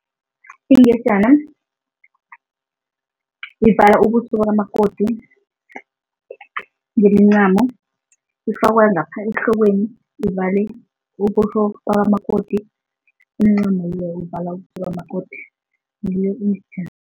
Ingejana ivala ubuso bakamakoti ngemincamo. Ifakwa ngapha ehlokweni, ivale ubuso bakamakoti, umncamo loyo uvala ubuso bakamakoti, ngiyo ingejana.